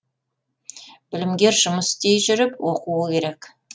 білімгер жұмыс істей жүріп оқуы керек